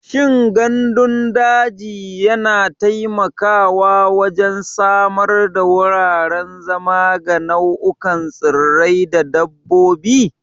Shin gandun daji yana taimakawa wajen samar da wuraren zama ga nau'ikan tsirrai da dabbobi?